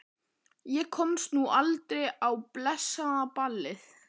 Ég komst nú aldrei á blessað ballið.